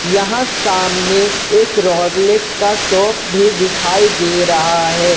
यहां सामने एक रोलेक्स का शॉप भी दिखाई दे रहा है ।